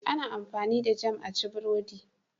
Ana amfani da Jam a ci burodi.